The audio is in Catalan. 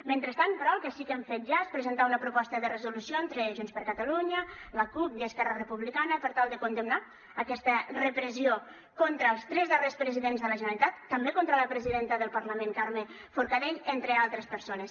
mentrestant però el que sí que hem fet ja és presentar una proposta de resolució entre junts per catalunya la cup i esquerra republicana per tal de condemnar aquesta repressió contra els tres darrers presidents de la generalitat també contra la presidenta del parlament carme forcadell entre altres persones